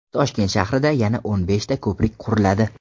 Toshkent shahrida yana o‘n beshta ko‘prik quriladi.